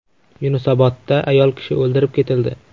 Yunusobodda ayol kishi o‘ldirib ketildi.